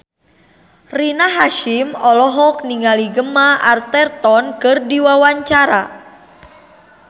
Rina Hasyim olohok ningali Gemma Arterton keur diwawancara